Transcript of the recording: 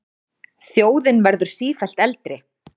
Þjóðin verður sífellt eldri.